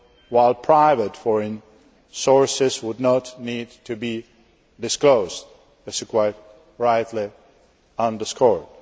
while private foreign sources would not need to be disclosed as has quite rightly been underscored.